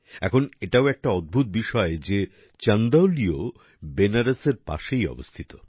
এখন এটাও একটা অদ্ভুত বিষয় যে চন্দৌলিও বেনারসের পাশেই অবস্থিত